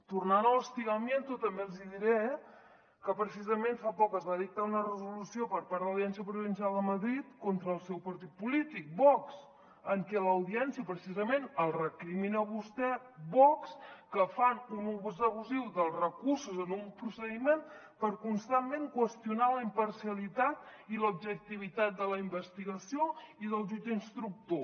tornant a l’una resolució per part de l’audiència provincial de madrid contra el seu partit polí·tic vox en què l’audiència precisament els recrimina a vostès vox que fan un ús abusiu dels recursos en un procediment per constantment qüestionar la imparciali·tat i l’objectivitat de la investigació i del jutge instructor